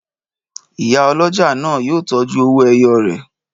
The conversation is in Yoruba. Ìyá ọlọ́jà náà yóò tọ́jú owó-ẹyọ rẹ̀.